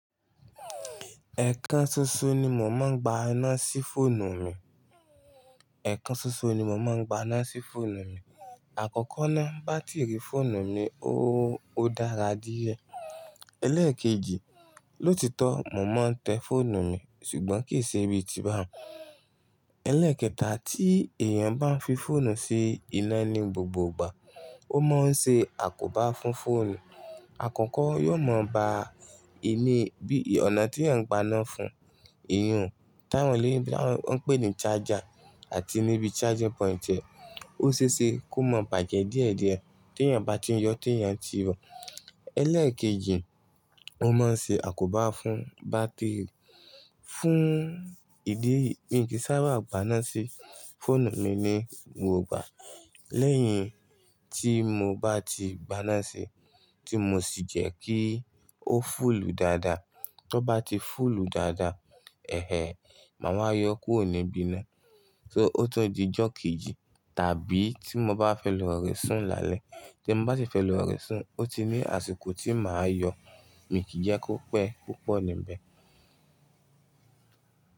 Ẹ̀kan ṣoṣo ni mò máa ń gba iná sí fóònù mi. Ẹ̀kan ṣoṣo ni mò máa ń gba iná sí fóònù mi. Àkọ́kọ́ náà bátìrì fóònù mi ó dára díẹ̀. Ẹlẹ́ẹ̀kejì, lóòtítọ́ mò máa ń tẹ fóònù mi ṣùgbọ́n kì í ṣe bí i ti bá wùn. Ẹlẹ́ẹ̀kẹta, tí èèyàn bá fi fóònù sí iná ní gbogbo ìgbà, ó máa ń ṣe àkóbá fún fóònù. Àkọ́kọ́ yóò mọ bá ini bí i, ọ̀nà tí èèyàn ń gbana fún, iyùn, tá won lọ́ọ̀yìbo, tó ń pè ní charger àti níbi charging point e, ó ṣe é ṣe kó mọ bàjẹ díẹ̀díẹ̀ tí èèyàn bá ti ń yọ, tí èèyàn ti bò. Ẹlẹ́ẹ̀kejì, ó máa ń ṣe àkóbá fún bátìrì. Fún ìdí èyí mi kì í sábà gbaná sí fóònù mi ní gbogbo ìgbà. Lẹ́yìn tí mo bá ti gbaná sí, tí mo sì jẹ́ kí ó fúlù dáadáa. Tọ́ bá ti fúlù dáadáa, màá wá yọ kórò ní bí iná. So ó tún di ìjọ kejì tàbí tí mo bá fẹ́ lọ re sùn lálẹ́. Tí m bá sì fẹ́ lọ re sùn ó ti ní àsìkò tí màá yọ. Mi kì í jẹ́ kó pẹ́ púpọ̀ níbẹ̀.